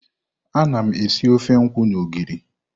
Ana m esi ofe nkwu na ogiri.